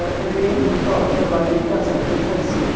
Ele ia me levar ao trabalho em casa para ir fazer.